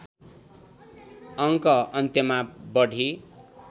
अङ्क अन्त्यमा बढी